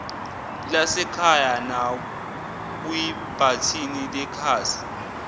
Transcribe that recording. lasekhaya nakwibhathini lekhasi